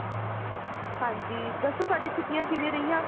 ਹਾਂਜੀ ਦੱਸੋ ਤੁਹਾਡੀਆ ਛੁੱਟੀਆਂ ਕਿਵੇਂ ਰਹੀਆਂ